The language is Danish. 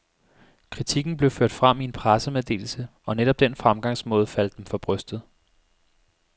Kritikken blev ført frem i en pressemeddelse, og netop den fremgangsmåde faldt dem for brystet.